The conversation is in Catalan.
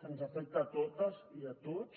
que ens afecta a totes i a tots